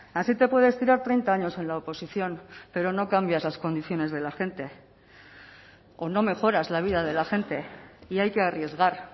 así te puedes tirar treinta años en la oposición pero no cambias las condiciones de la gente o no mejoras la vida de la gente y hay que arriesgar